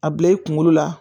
A bila i kunkolo la